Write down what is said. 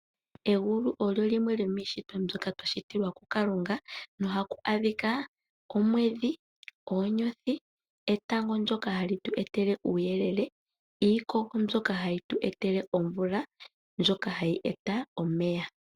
Egulu osho shimwe shomiishitwa mbyoka yashitwa kuKalunga, na ohaku adhika omwedhi, oonyothi, etango ndjoka hali tu etele uuyelele, niikogo mbyoka hayi tu etele omvula ndjoka hayi loko omeya.